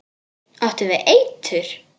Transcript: Áttu við eitur.